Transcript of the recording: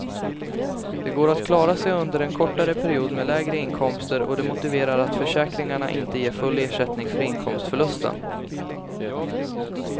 Det går att klara sig under en kortare period med lägre inkomster och det motiverar att försäkringarna inte ger full ersättning för inkomstförlusten.